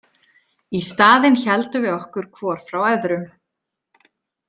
Í staðinn héldum við okkur hvor frá öðrum.